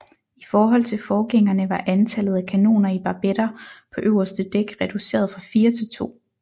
I forhold til forgængerne var antallet af kanoner i barbetter på øverste dæk reduceret fra fire til to